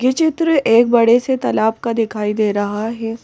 ये चित्र एक बड़े से तालाब का दिखाई दे रहा है।